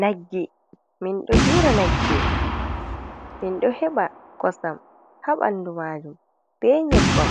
Nagge, min ɗo dura Nagge, min ɗo heɓa kosam ha ɓandu majum, be nyebbam,